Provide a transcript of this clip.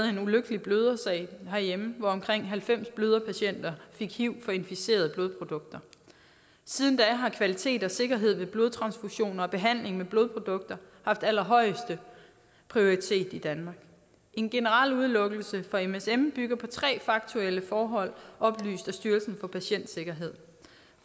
en ulykkelig blødersag herhjemme hvor omkring halvfems bløderpatienter fik hiv fra inficerede blodprodukter siden da har kvalitet og sikkerhed ved blodtransfusioner og behandling med blodprodukter haft allerhøjeste prioritet i danmark en generel udelukkelse af msm bygger på tre faktuelle forhold oplyst af styrelsen for patientsikkerhed